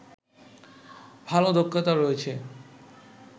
ভালো দক্ষতা রয়েছে